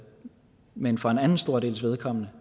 men for en anden stor dels vedkommende